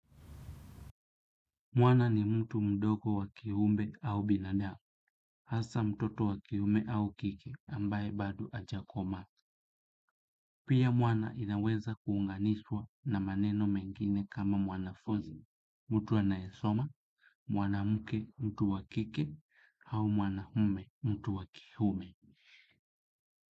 Mwana ni mtu mdogo wa kiumbe au binadamu, hasa mtoto wa kiume au kike, ambaye bado hajakomaa. Pia mwana inaweza kuunganishwa na maneno mengine kama mwanafunzi, mtu anayesoma, mwanamke mtu wa kike au mwanamume mtu wa kiume.